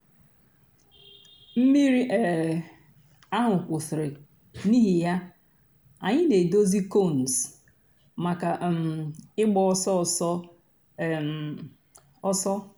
mmírí um àhụ̀ kwụsìrì n'ìhì yà ànyị̀ nà-èdòzì cones mǎká um ị̀gba òsọ̀ òsọ̀ um òsọ̀.